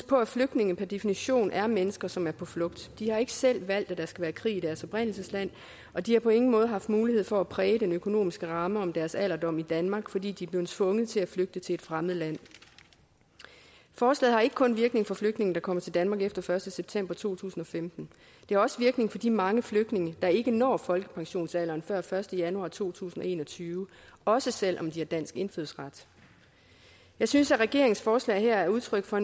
på at flygtninge per definition er mennesker som er på flugt de har ikke selv valgt at der skal være krig i deres oprindelsesland og de har på ingen måde haft mulighed for at præge den økonomiske ramme om deres alderdom i danmark fordi de er blevet tvunget til at flygte til et fremmed land forslaget har ikke kun virkning for flygtninge der kommer til danmark efter den første september to tusind og femten det har også virkning for de mange flygtninge der ikke når folkepensionsalderen før den første januar to tusind og en og tyve også selv om de har dansk indfødsret jeg synes at regeringens forslag her er udtryk for